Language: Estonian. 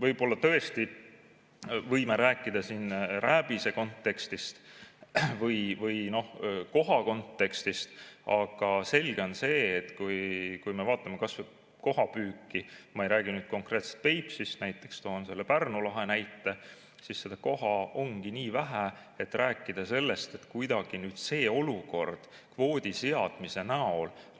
Võib-olla tõesti me võime rääkida siin rääbise kontekstist või koha kontekstist, aga selge on see, vaatame kas või kohapüüki – ma ei räägi konkreetselt Peipsist, toon selle Pärnu lahe näite –, et koha ongi nii vähe, et rääkida sellest, nagu kuidagi see kvoodiseadmine